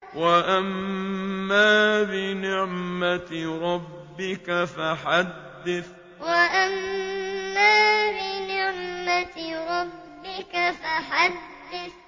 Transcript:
وَأَمَّا بِنِعْمَةِ رَبِّكَ فَحَدِّثْ وَأَمَّا بِنِعْمَةِ رَبِّكَ فَحَدِّثْ